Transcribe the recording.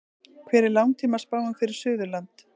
hver er langtímaspáin fyrir suðurland